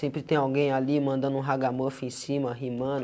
Sempre tem alguém ali mandando um haga mofe em cima, rimando,